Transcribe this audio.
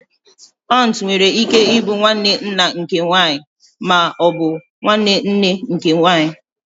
Ọntu nwere ike ịbụ nwanne nna nke nwanyị ma ọ bụ nwanne nne nke nwanyị